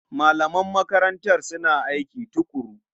Malaman makarantar suna aiki tuƙuru.